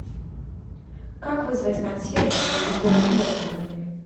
как вызвать консьержа чтобы сделать уборку в номере